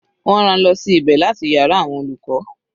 Wọ́n rán-an lọ sí ibẹ̀ láti yàrá àwọn olùkọ́.